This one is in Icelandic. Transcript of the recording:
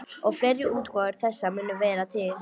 Og fleiri útgáfur þessa munu vera til.